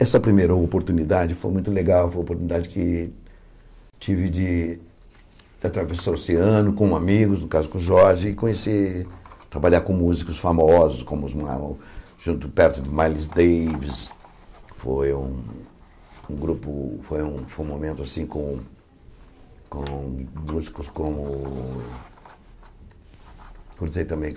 essa primeira oportunidade foi muito legal, foi uma oportunidade que tive de atravessar o oceano com amigos, no caso com o Jorge, e conhecer, trabalhar com músicos famosos, como os junto perto de Miles Davis, foi um um grupo, foi um foi um momento assim com com músicos como cruzei também